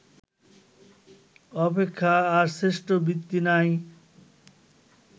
অপেক্ষা আর শ্রেষ্ঠ বৃত্তি নাই